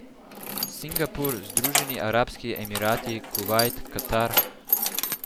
Singapur, Združeni arabski emirati, Kuvajt, Katar ...